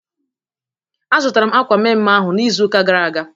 A zụtara m akwa mme mme ahụ n'izuka gara aga